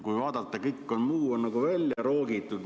Kui vaadata, siis kõik muu on välja roogitud.